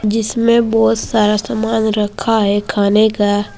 जिसमें बहोत सारा समान रखा है खाने का--